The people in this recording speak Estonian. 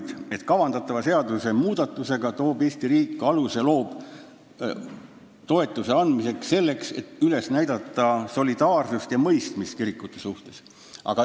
" Aga edasi: "Kavandatava seaduse muudatusega loob Eesti riik aluse toetuse andmiseks selleks, et üles näidata solidaarsust ja mõistmist kirikute suhtes ...